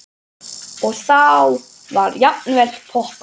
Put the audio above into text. Og þá var jafnvel poppað.